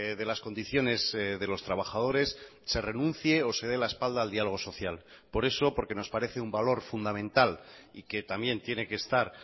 de las condiciones de los trabajadores se renuncie o se de la espalda al diálogo social por eso porque nos parece un valor fundamental y que también tiene que estar